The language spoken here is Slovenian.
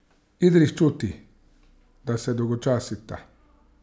Idris čuti, da se dolgočasita.